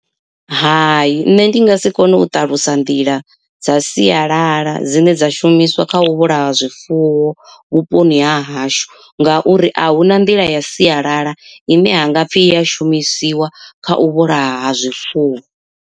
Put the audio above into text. Hai nṋe ndi nga si kone u ṱalusa nḓila dza sialala dzine dza shumiswa kha u vhulaya zwifuwo vhuponi ha hashu, ngauri ahuna nḓila ya sialala ine ha ngapfhi i ya shumisiwa kha u vhulaha ha zwifuwo.